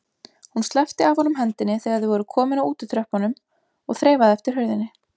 Hún sleppti af honum hendinni þegar þau voru komin að útitröppunum og þreifaði eftir hurðinni.